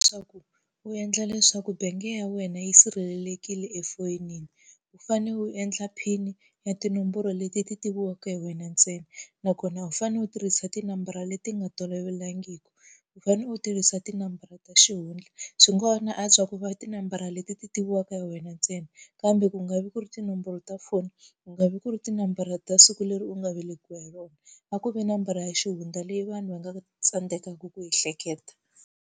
Swa ku u endla leswaku bank ya wena yi sirhelelekile efoyinini, u fanele u endla PIN-i ya tinomboro leti ti tiviwaka hi wena ntsena. Nakona u fanele u tirhisa tinambara leti nga tolovelekangiki, u fanele u tirhisa tinambara ta xihundla. Swi ngo ha na antswa ku va tinambara leti ti tiviwaka hi wena ntsena, kambe ku nga vi ku ri tinomboro ta foni, ku nga vi ku ri tinambara ta siku leri u nga velekiwa hi rona. A ku ve nambara ya xihundla leyi vanhu va nga tsandzekaka ku ehleketa.